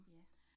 Ja